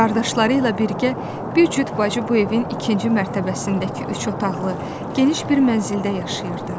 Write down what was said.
Qardaşları ilə birgə bir cüt bacı bu evin ikinci mərtəbəsindəki üç otaqlı, geniş bir mənzildə yaşayırdı.